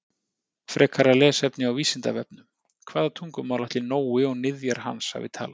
Frekara lesefni á Vísindavefnum: Hvaða tungumál ætli Nói og niðjar hans hafi talað?